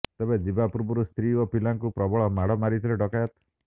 ତେବେ ଯିବା ପୂର୍ବରୁ ସ୍ତ୍ରୀ ଓ ପିଲାଙ୍କୁ ପ୍ରବଳ ମାଡ ମାରିଥିଲେ ଡକାୟତ